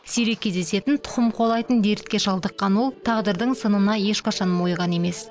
сирек кездесетін тұқым қуалайтын дертке шалдыққан ол тағдырдың сынына ешқашан мойыған емес